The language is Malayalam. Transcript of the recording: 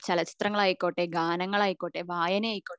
ചലച്ചിത്രങ്ങൾ ആയിക്കോട്ടെ ഗാനങ്ങൾ ആയിക്കോട്ടെ വായന ആയിക്കോട്ടെ